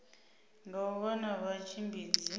nga u vha na vhatshimbidzi